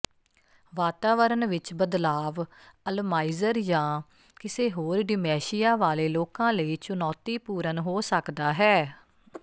ਵਾਤਾਵਰਣ ਵਿੱਚ ਬਦਲਾਵ ਅਲਜ਼ਾਈਮਰ ਜਾਂ ਕਿਸੇ ਹੋਰ ਡਿਮੈਂਸ਼ੀਆ ਵਾਲੇ ਲੋਕਾਂ ਲਈ ਚੁਣੌਤੀਪੂਰਨ ਹੋ ਸਕਦਾ ਹੈ